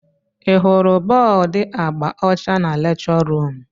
Ị hụrụ bọọdu agba ọcha na lekchọ ruum?